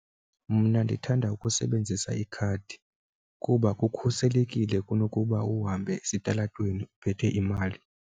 Mna ndithanda ukusebenzisa ikhadi kuba kukhuselekile kunokuba uhambe esitalatweni uphethe imali.